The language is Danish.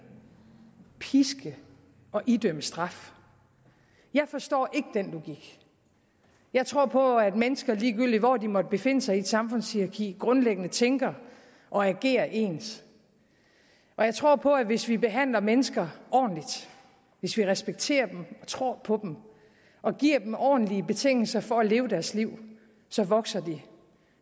piske og idømme straf jeg forstår ikke den logik jeg tror på at mennesker ligegyldig hvor de måtte befinde sig i et samfundshierarki grundlæggende tænker og agerer ens jeg tror på at hvis vi behandler mennesker ordentligt hvis vi respekterer dem og tror på dem og giver dem ordentlige betingelser for at leve deres liv vokser de